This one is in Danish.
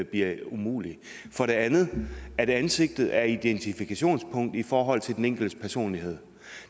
bliver umulig for det andet vil jeg at ansigtet er et identifikationspunkt i forhold til den enkeltes personlighed